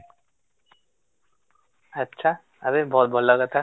ଆଛା, ଆବେ ବହୁତ ଭଲ କଥା